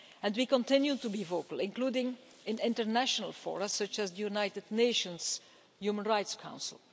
And we continue to be vocal, including in international fora such as the United Nations Human Rights Council.